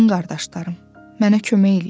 Din qardaşlarım, mənə kömək eləyin.